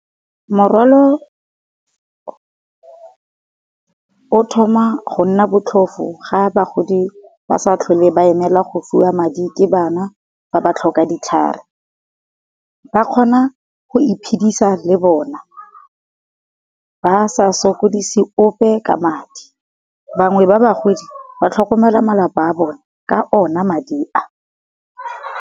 Morwalo o thoma go nna botlhofo ga bagodi ba sa tlhole ba emela go fiwa madi ke bana fa ba tlhoka ditlhare, ba kgona go iphedisa le bona. Ba sa sokodise ope ka madi, bangwe ba bagodi ba tlhokomela malapa a bone ka ona madi a.